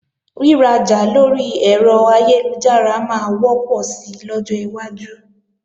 Rírajà lórí ẹ̀rọ ayélujára máa wọ́pọ̀ sí lọ́jọ́ iwájú